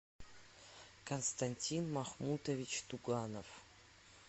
константин махмутович туганов